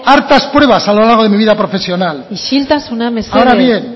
hartas pruebas a lo largo de mi vida profesional isiltasuna mesedez ahora bien